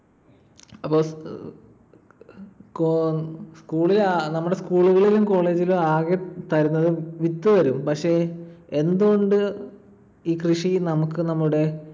അപ്പൊ school ൽ നമ്മുടെ school കളിലും college ലും ആകെ തരുന്നത് വിത്ത് തരും. പക്ഷെ എന്ത് കൊണ്ട് ഈ കൃഷി നമുക്ക് നമ്മുടെ